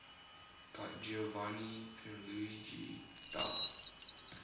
giovanni pierluigi da